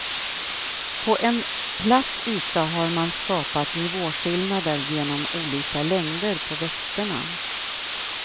På en platt yta har man skapat nivåskillnader genom olika längder på växterna.